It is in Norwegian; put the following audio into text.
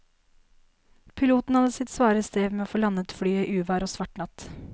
Piloten hadde sitt svare strev med å få landet flyet i uvær og svart natt.